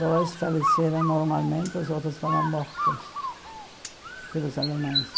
Dois faleceram normalmente, os outros foram mortos pelos alemães.